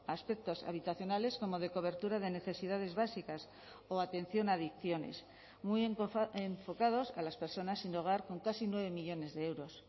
aspectos habitacionales como de cobertura de necesidades básicas o atención a adicciones muy enfocados a las personas sin hogar con casi nueve millónes de euros